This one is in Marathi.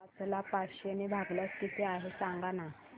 पाच ला पाचशे ने भागल्यास किती आहे सांगना